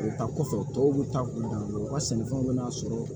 O ta kɔfɛ tɔw bɛ taa u dan bɛ u ka sɛnɛfɛnw bɛna sɔrɔ